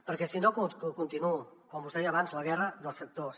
perquè si no continuo com us deia abans la guerra dels sectors